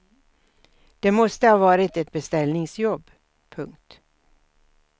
Det måste ha varit ett beställningsjobb. punkt